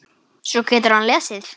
Svo getur hann lesið.